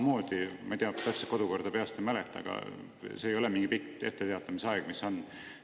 Ma ei tea täpselt, kodukorda peast ei mäleta, aga see samamoodi ei ole mingi pikk etteteatamise aeg, mis kehtib.